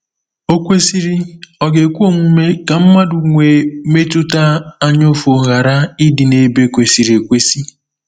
Okwesịrị, ọ̀ ga-ekwe omume ka mmadụ nwee mmetụta anyaụfụ ghara ịdị n’ebe kwesịrị ekwesị?